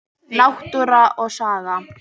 Náttúra og saga.